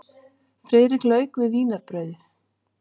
Friðrik lauk við vínarbrauðið.